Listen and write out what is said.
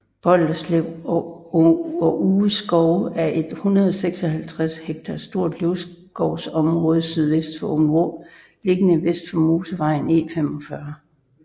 Bolderslev og Uge skove er et 156 hektar stort løvskovsområde sydvest for Åbenrå lige vest for motorvej E45